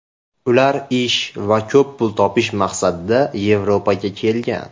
Ular ish va ko‘p pul topish maqsadida Yevropaga kelgan.